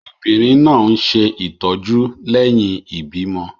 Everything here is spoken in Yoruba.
Obìnrin náà ń ṣe ìtọ́jú lẹ́yìn ìbímọ.